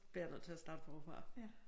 Bliver jeg nødt til at starte forfra